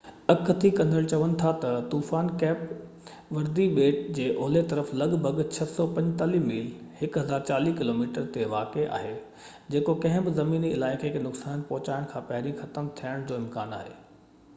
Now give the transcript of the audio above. اڳڪٿي ڪندڙ چون ٿا تہ طوفان ڪيپ وردي ٻيٽ جي اولهہ طرف لڳ ڀڳ 645 ميل 1040 ڪلو ميٽر تي واقع آهي، جيڪو ڪنهن بہ زميني علائقي کي نقصان پهچائڻ کان پهرين ختم ٿيڻ جو امڪان آهي